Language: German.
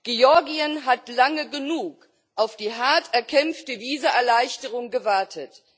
Georgien hat lange genug auf die hart erkämpfte Visaerleichterung gewartet.